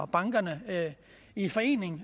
bankerne i forening